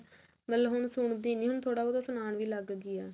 ਮਤਲਬ ਹੁਣ ਸੁਣਦੀ ਨੀ ਥੋਰਾ but ਸੁਣਾਉਣ ਵੀ ਲੱਗ ਗਈ